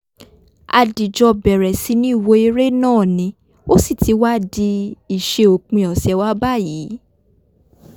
a dìjọ̣ bẹ̀rẹ̀ sí ní wo eré náà ní ó sì ti wá di ìṣe òpin ọ̀sẹ̀ wa báyìí